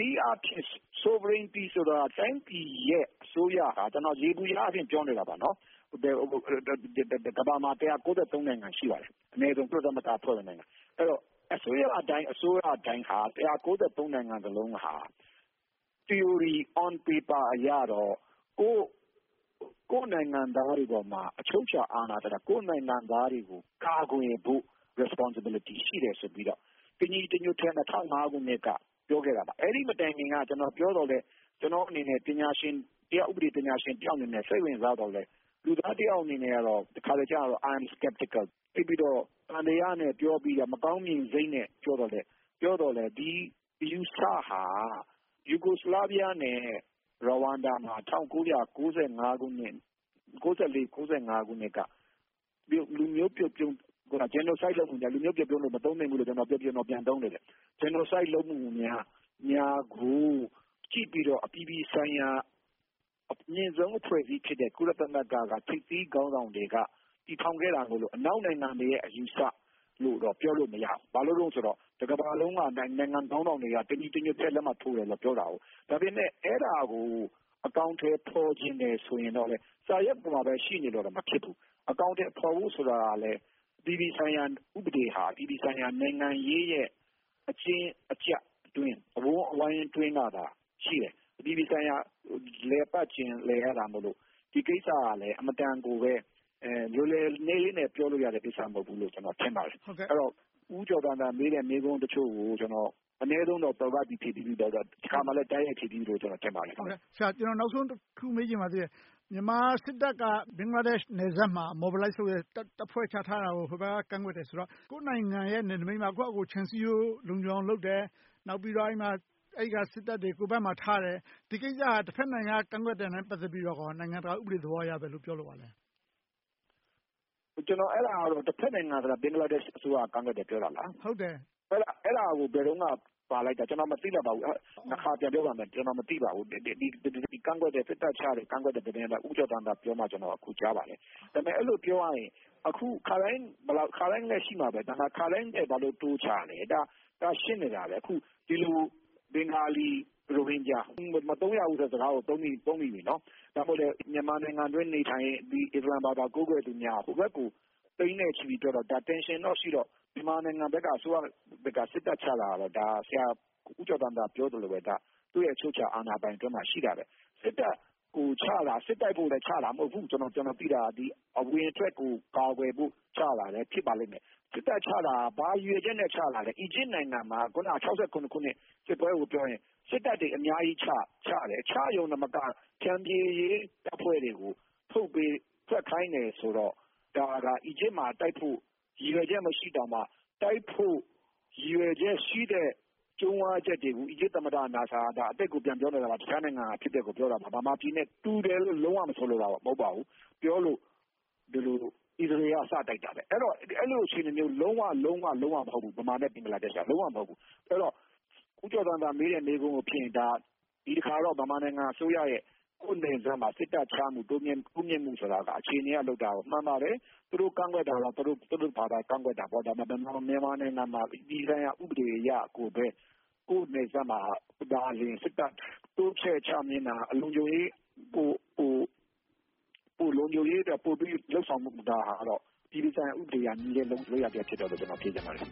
နည်းအားဖြင့် Sovereignty ဆိုတာ တိုင်းပြည်ရဲ့ အစိုးရဟာ ယေဘုယျအားဖြင့် ပြောနေတာပါ။ ကမ္ဘာမှာ နိုင်ငံ ရှိပါတယ်။ အနည်းဆုံး ကုလသမဂ္ဂနိုင်ငံ - အဲဒီတော့ အစိုးရတိုင်း နိုင်ငံလုံးဟာ သီအိုရီ On paper အရတော့ ကိုယ့်နိုင်ငံသားတွေပေါ်မှာ အချုပ်အခြာအာဏာထက် ကိုယ့်နိုင်ငံသားတွေကို ကာကွယ်ပေးဖို့ Responsibility ရှိတယ်ဆိုပြီးတော့ တညီတညွှတ်တည်း ၂၀၀၅ ခုနှစ်က ပြောခဲ့တာပါ။ အဲဒီမတိုင်ခင်က ကျနော်ပြောသော်လဲ ကျနော့်အနေနဲ့ တရားဥပဒေ ပညာရှင်တယောက်အနေနဲ့ စိတ်ဝင်စားသော်လဲ လူသားတယောက်အနေနဲ့ကြတော့ တခါတလေ I’m skeptical သိပ်ပြီးတော့ သံသယနဲ့ ပြောပြီးတော့၊ မကောင်းမြင်စိတ်နဲ့ ပြောသော်လဲ ဒီအယူအဆဟာ Yugoslavia နဲ့ Rwanda မှာ ၁၉၉၄-၉၅ ခုနှစ်က Genocide လုပ်ပေမယ့် လူမျိုးပြုတ်ပြုန်းလို့ မသုံးသင့်ဘူးလို့ ကျနော် ပြန်သုံးနေတယ်။ Genocide လုပ်မှုများကို ကြည့်ပြီးတော့ အပြည်ပြည်ဆိုင်ရာ အမြင့်ဆုံးအဖွဲ့အစည်းဖြစ်တဲ့ ကုလသမဂ္ဂနဲ့ ထိပ်သီးခေါင်းဆောင်တွေက တည်ထောင်ခဲ့တာကို အနောက်နိုင်ငံတွေရဲ့ အယူအဆလို့တော့ ပြောလို့မရဘူး။ ဘာဖြစ်လို့လဲဆိုတော့ တကမ္ဘာလုံးက နိုင်ငံခေါင်းဆောင်တွေက တညီတညွတ်ထဲ လက်မှတ်ထိုးတယ်လို့ ပြောတယ်။ ဒါပေမဲ့ အဲဒါကို အကောင်အထည် ဖော်ချင်တယ်ဆိုရင်တော့လဲ စာရွက်ပေါ်မှာပဲ ရှိနေလို့လဲ မဖြစ်ဘူး။ အကောင်အထည်ဖော်ဖို့ ဆိုတာလဲ အပြည်ပြည်ဆိုင်ရာ ဥပဒေဟာ အပြည်ပြည်ဆိုင်ရာ နိုင်ငံရေးရဲ့ အကျဉ်းအကြပ်အတွင်း၊ အဝန်းအဝိုင်းအတွင်းမှာသာ ရှိတယ်။ အပြည်ပြည်ဆိုင်ရာ လည်ပတ်ချင် လည်ရတာမို့ ဒီကိစ္စက အင်မတန်ကိုပဲ လွယ်လွယ်လေးနဲ့ ပြောလို့ရတဲ့ကိစ္စ မဟုတ်ဘူးလို့ ကျနော် ထင်ပါတယ်။ အဲဒီတော့ ဦးကျော်ဇံသာ မေးတဲ့ မေးခွန်းတချို့ကို အနည်းဆုံးတော့ သွယ်ဝိုက်ပြီး၊ တခါတလေ တိုက်ရိုက်ဖြေပြီးပြီလို့ ထင်ပါတယ်။ ကျနော် နောက်ဆုံးတခု မေးချင်ပါသေးတယ်။ မြန်မာစစ်တပ်က ဘင်္ဂလားဒေ့ရှ်နယ်စပ်မှာ Mobilize လုပ်တယ်။ တပ်ဖွဲ့ချထားတာကို ဟိုဘက်က ကန့်ကွက်တယ်ဆိုတော့ ကိုယ့်နိုင်ငံရဲ့ နယ်နမိတ်မှာ ကိုယ့်ဘာသာကိုယ် ခြံစည်းရိုး လုံခြုံအောင်လုပ်တယ်။ နောက်ပြီးတော့ စစ်တပ်တွေကို ကိုယ့်ဘက်မှာထားတယ်။ ဒီကိစ္စက တဘက်နိုင်ငံက ကန့်ကွက်တာနဲ့ ပတ်သက်ပြီးတော့ နိုင်ငံတကာဥပဒေသဘောအရ ဘယ်လို ပြောလိုပါလဲ။ တဘက်နိုင်ငံဆိုတာ ဘင်္ဂလားဒေ့ရှ်နိုင်ငံက ကန့်ကွက်တယ်လို့ ပြောတာလား။ အဲဒါ ဘယ်တုန်းက ပါလိုက်တာလဲ။ ကျနော် မသိလိုက်ပါဘူး။ နှစ်ခါပြန်ပြောပါမယ်။ ကျနော် မသိပါဘူး။ စစ်တပ်ချတယ်၊ ကန့်ကွက်တယ်ဆိုတဲ့ သတင်းကို ဦးကျော်ဇံသာ ပြောမှ ကျနော် ကြားပါတယ်။ ဒါပေမဲ့ အဲဒီလို ပြောရရင် အခုမဟုတ်ဘူး။ ခါတိုင်းလဲ ရှိမှာပဲ။ ခါတိုင်းထက် ဘာဖြစ်လို့ တိုးချလဲ။ ဒါက ရှင်းနေတာပဲ။ အခု ဘင်္ဂလီ၊ ရိုဟင်ဂျာ - မသုံးရဘူးဆိုတဲ့ စကားကို သုံးမိပြီ။ ဒါမှမဟုတ် မြန်မာနိုင်ငံအတွင်း နေထိုင်ပြီး အစ္စလာမ်ဘာသာ ကိုးကွယ်သူများ၊ ဟိုဘက်ကို သိန်းနဲ့ချီပြီးထွက်ခွါတာ - Tension ရှိတော့ မြန်မာနိုင်ငံဘက်က စစ်တပ်ချတာ ဆရာဦးကျော်ဇံသာ ပြောသလိုပဲ ဒါက သူ့ရဲ့ အချုပ်အခြာအာဏာပိုင်အတွင်းမျာ ရှိတာပဲ။ စစ်တပ်ကိုချတာ စစ်တိုက်ဖို့ ချတာလဲ မဟုတ်ဘူး။ ကျနော် သိတာက အဝင်အထွက်ကို ကာကွယ်ဖို့ ဖြစ်ပါလိမ့်မယ်။ စစ်တပ်ချတာ ဘာရည်ရွယ်ချက်နဲ့ ချတာလဲ။ အီဂျစ်နိုင်ငံမှာ အခုန ၁၉၆၇ ခုနှစ် စစ်ပွဲကိုပြောရင် စစ်တပ်တွေ အများကြီးချတယ်။ ချရုံတင်မက ဖြန့်ဖြေရေးတပ်ဖွဲ့တွေကို ဆုတ်ပေး၊ ထွက်ခိုင်းတယ်ဆိုတော့ ဒါက အီဂျစ်မှာတိုက်ဖို့ ရည်ရွယ်ချက် မရှိတောင်မှ တိုက်ဖို့ ရည်ရွယ်ချက်ရှိတဲ့ ကြုံးဝါးချက်တွေကို အီဂျစ်သမ္မတ နာဆာ က - ဒါက အတိတ်ကို ပြန်ပြောနေတာ၊ တခြားနိုင်ငံက အဖြစ်အပျက်ကို ပြောတာပါ။ ဗမာပြည်နဲ့ တူတယ်လို့ လုံးဝမဆိုလိုပါဘူး။ ပြောလို့ အစ္စရေးလ်က စတိုက်ခဲ့တယ်။ အဲဒီလို အခြေအနေမျိုး လုံးဝ၊ လုံးဝ လုံးဝ မဟုတ်ဘူး - ဗမာနဲ့ ဘင်္ဂလားဒေ့ရှ်တို့က။ အဲဒီတော့ ဦးကျော်ဇံသာ မေးတဲ့ မေးခွန်းကိုဖြေရင် ဒီတခါတော့ ဗမာနိုင်ငံအစိုးရရဲ့ ကိုယ့်နယ်စပ်မှာ စစ်တပ်ချမှု၊ တိုးမြှင့်မှုဆိုတာ အခြေအနေအရ လုပ်တာ မှန်ပါတယ်။ သူတို့ ကန့်ကွက်တာက သူတို့ဘာသာ ကန့်ကွက်တာပေါ့။ မြန်မာနိုင်ငံမှာ အပြည်ပြည်ဆိုင်ရာ ဥပဒေအရကိုပဲ ကိုယ့်နယ်စပ်မှာ စစ်တပ်တိုးမြှင့်ချတာ လုံခြုံရေးအတွက် ပိုပြီးလုပ်ဆောင်တာ အပြည်ပြည်ဆိုင်ရာ ဥပဒေနဲ့ ညီတဲ့လုပ်ရပ်လို့ ကျနော် ထင်မြင်ပါတယ်